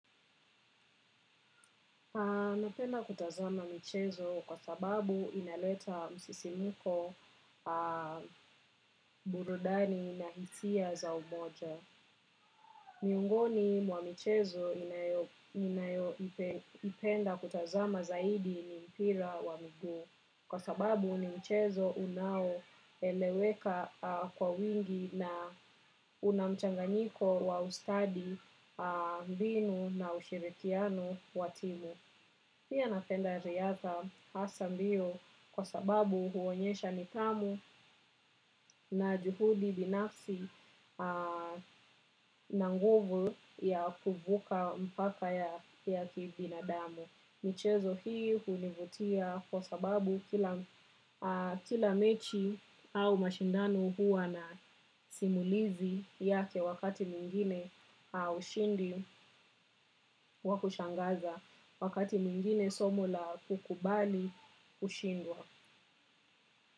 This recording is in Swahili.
Napenda kutazama michezo kwa sababu inaleta msisimko burudani na hisia za umoja. Miongoni mwa michezo ninayoupenda kutazama zaidi ni mpira wa mguu. Kwa sababu ni mchezo unaoeleweka kwa wengi na una mchanganyiko wa ustadi mbinu na ushirikiano wa timu. Pia napenda riadha hasa mbio kwa sababu huonyesha nidhamu na juhudi binafsi na nguvu ya kuvuka mpaka ya kibinadamu. Michezo hii hunivutia kwa sababu kila mechi au mashindano huwa na simulizi yake wakati mwingine ushindi wa kushangaza wakati mwingine somo la kukubali kushindwa.